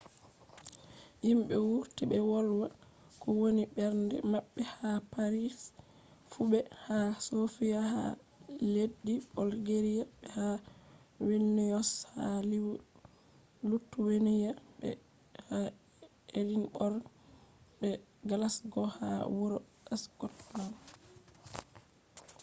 himɓe wurti ɓe wolwa ko woni mbernde maɓɓe ha paris fu be ha sofiya ha leddi bolgeriya be ha vilniyos ha lituweniya be ha edinborg be glasgo ha wuro skotland